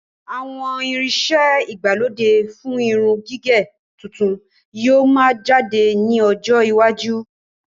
Àwọn irin iṣẹ ìgbàlódé fún irun gígẹ̀ tuntun yìí ó máa jáde ní ọjọ́ iwájú.